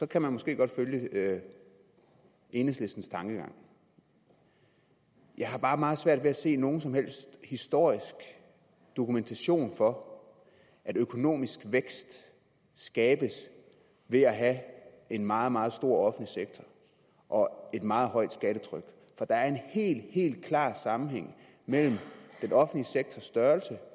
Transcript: kan man måske godt følge enhedslistens tankegang jeg har bare meget svært ved at se nogen som helst historisk dokumentation for at økonomisk vækst skabes ved at have en meget meget stor offentlig sektor og et meget højt skattetryk der er en helt helt klar sammenhæng mellem den offentlige sektors størrelse